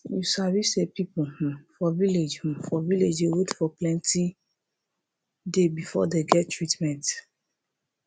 you sabi say people hmm for village hmm for village dey wait for plenti day before dey get treatment